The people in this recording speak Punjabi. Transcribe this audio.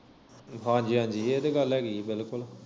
ਹਾਂਜੀ ਹਾਂਜੀ ਇਹ ਤੇ ਗੱਲ ਹੈਗੀ ਆ ਬਿਲਕੁਲ